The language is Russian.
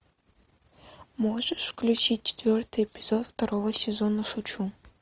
можешь включить четвертый эпизод второго сезона шучу